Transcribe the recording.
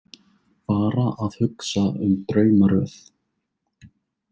Bara að hugsa um draumaröð.